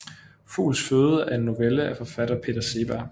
Fugls føde er en novelle af forfatter Peter Seeberg